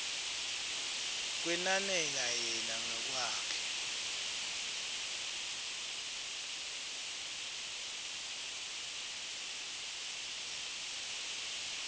kwenanela yena ngekwakhe